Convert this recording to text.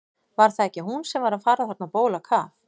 Var það ekki hún sem var að fara þarna á bólakaf?